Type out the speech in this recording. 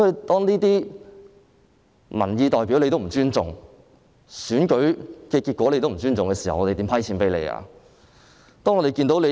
當政府連民意代表和選舉結果也不尊重時，我們如何撥款給政府呢？